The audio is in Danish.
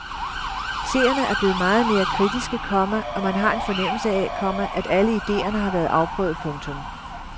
Seerne er blevet meget mere kritiske, komma og man har en fornemmelse af, komma at alle ideerne har været afprøvet. punktum